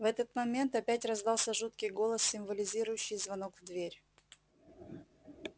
в этот момент опять раздался жуткий голос символизирующий звонок в дверь